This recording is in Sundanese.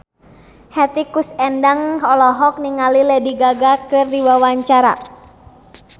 Hetty Koes Endang olohok ningali Lady Gaga keur diwawancara